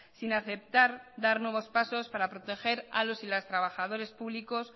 sin aceptar dar nuevos pasos para proteger a los y las trabajadores públicos